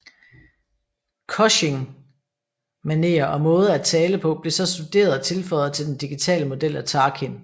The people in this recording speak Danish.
Cushing manerer og måde at tale på blev så studeret og tilføjet til den digitale model af Tarkin